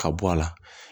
Ka bɔ a la